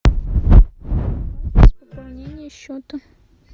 пополнение счета